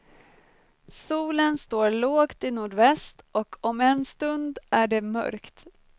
Solen står lågt i nordväst och om en stund är det mörkt.